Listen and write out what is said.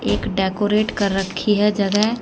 एक डेकोरेट कर रखी है जगह--